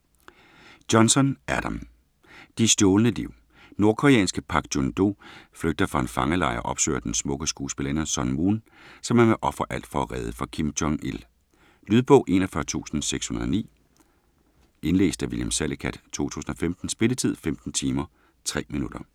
Johnson, Adam: De stjålne liv Nordkoreanske Pak Jun Do flygter fra en fangelejr og opsøger den smukke skuespillerinde, Sun Moon, som han vil ofre alt for at redde fra Kim Jong-Il. Lydbog 41609 Indlæst af William Salicath, 2015. Spilletid: 15 timer, 3 minutter.